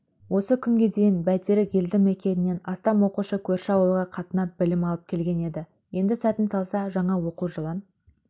осы күнге дейін бәйтерек елді мекенінен астам оқушы көрші ауылға қатынап білім алып келген еді енді сәтін салса жаңа оқу жылын